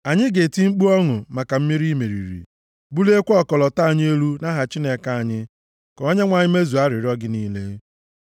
Anyị ga-eti mkpu ọṅụ maka mmeri i meriri, buliekwa ọkọlọtọ anyị elu nʼaha Chineke anyị. Ka Onyenwe anyị mezuo arịrịọ gị niile.